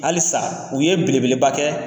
Halisa u ye bele bele ba kɛ.